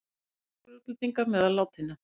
Fjórir útlendingar meðal látinna